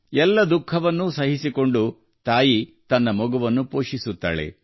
ಎಲ್ಲಾ ರೀತಿಯ ಕಷ್ಟಗಳನ್ನು ಅನುಭವಿಸಿದ ನಂತರವೂ ತಾಯಿ ತನ್ನ ಮಗುವನ್ನು ಪೋಷಿಸುತ್ತಾಳೆ